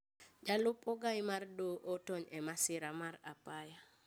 Jalup ogae mar doho otony e masira mar apaya